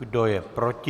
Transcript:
Kdo je proti?